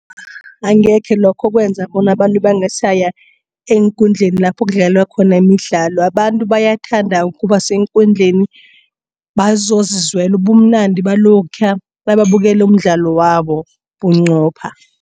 Angekhe lokho kwenza bona abantu bangasaya eenkundleni lapho kudlalwa khona imidlalo. Abantu bayathanda ukuba seenkundleni bazozizwela ubumnandi balokhaya nababukela umdlalo wabo bunqopha.